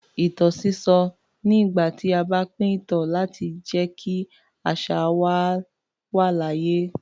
Ìtàn sísọ ni ìgbà tí a bá pín ìtàn láti jẹ́ kí àṣà wa wà láàyè.